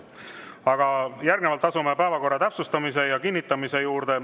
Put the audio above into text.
Aga järgnevalt asume päevakorra täpsustamise ja kinnitamise juurde.